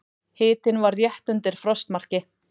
Hitinn var rétt undir frostmarki.